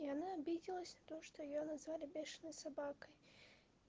и она обиделась то что её назвали бешеной собакой